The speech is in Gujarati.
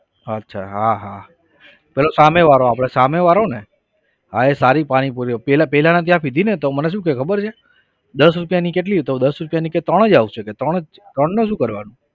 અચ્છા હા હા પેલો સામે વાળો આપણે સામે વાળો ને હા એ સારી પાણીપુરી પેલા પેલા ના ત્યાં પીધીને તો મને શું કહે ખબર છે દસ રૂપિયાની કેટલી તો દસ રૂપિયાની ત્રણ જ આવશે કે ત્રણ જ ત્રણ ને શું કરવાનું?